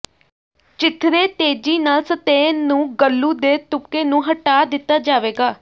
ਚੀਥੜੇ ਤੇਜ਼ੀ ਨਾਲ ਸਤਹ ਨੂੰ ਗਲੂ ਦੇ ਤੁਪਕੇ ਨੂੰ ਹਟਾ ਦਿੱਤਾ ਜਾਵੇਗਾ